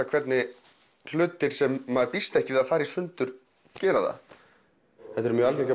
hvernig hlutir sem maður býst ekki við að fari í sundur gera það þetta eru mjög algengir